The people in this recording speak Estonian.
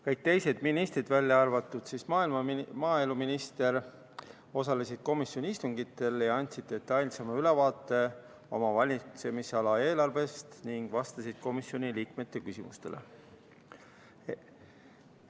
Kõik teised ministrid, välja arvatud maaeluminister, osalesid komisjoni istungitel ja andsid detailsema ülevaate oma valitsemisala eelarvest ning vastasid komisjoniliikmete küsimustele.